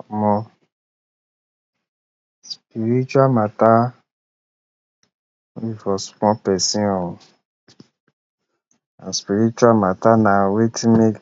Omo spiritual mata no be for small person oh. spiritual mata na wetin need,